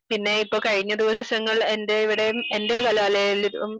പിന്നെ ഇപ്പോ കഴിഞ്ഞ ദിവസങ്ങൾ എന്റെ ഇവിടെ എന്റെ കലാലയങ്ങളിലും